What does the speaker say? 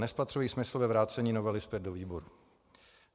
Nespatřuji smysl ve vrácení novely zpět do výboru.